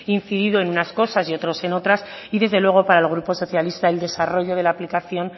incidido en unas cosas y otros en otras y desde luego para el grupo socialista el desarrollo de la aplicación